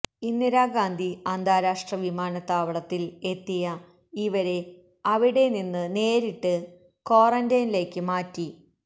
ഇന്ദിരാഗാന്ധി അന്താരാഷ്ട്ര വിമാനത്താവളത്തിൽ എത്തിയ ഇവരെ അവടെ നിന്ന് നേരിട്ട് ക്വാറന്റീനിലേയ്ക്ക് മാറ്റി